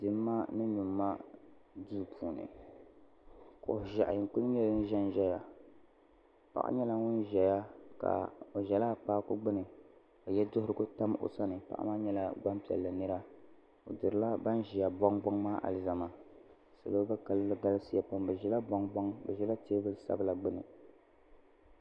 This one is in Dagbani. Dimma ni nyumma duu puuni kuɣu ʒehi n kuli ʒɛya paɣa nyɛla ŋun ʒɛya o ʒɛla akpaaku gbini ka yeduhurigu tam o sani paɣa maa nyɛla gbampiɛlli nira o dirila ban ʒia boŋ boŋ maa alizama salo maa kalinli galisiya pam bɛ ʒila boŋ boŋ bɛ ʒila teebuli sabla gbini.